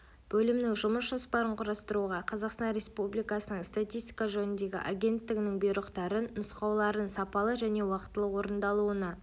бөлімнің жұмыс жоспарын құрастыруға қазақстан республикасының статистика жөніндегі агенттігінің бұйрықтарын нұсқауларын сапалы және уақытылы орындалуына